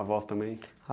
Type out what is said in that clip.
A avó também?